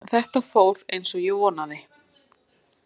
Þetta fór eins og ég vonaði